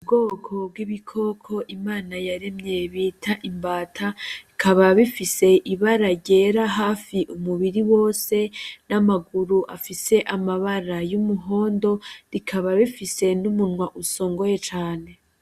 Ubwoko bw'ibikoko IMANA yaremye bita imbata, bikaba bifise ibara ryera hafi umubiri wose n'amaguru afise amabara y'umuhondo, bikaba bifise n'umunwa usongoye cane.